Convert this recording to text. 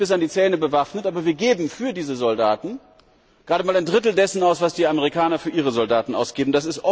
Wir sind bis an die Zähne bewaffnet, aber wir geben für diese Soldaten gerade mal ein Drittel dessen aus, was die Amerikaner für ihre Soldaten ausgeben.